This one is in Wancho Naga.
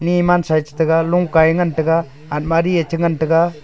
ley mansa ye chitaiga longka ye ngan taiga admari ye chi ngan taiga.